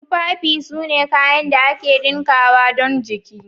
Tufafi sune kayan da aka dinkawa don jiki.